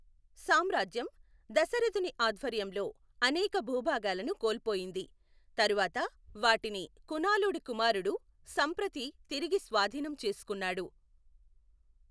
సామ్రాజ్యం దశరథుని ఆధ్వర్యంలో అనేక భూభాగాలను కోల్పోయింది, తరువాత వాటిని కునాలుడి కుమారుడు సంప్రతి తిరిగి స్వాధీనం చేసుకున్నాడు.